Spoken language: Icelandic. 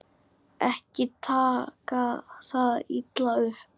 Ekki taka það illa upp.